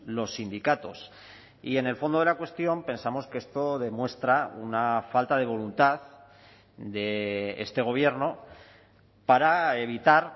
los sindicatos y en el fondo de la cuestión pensamos que esto demuestra una falta de voluntad de este gobierno para evitar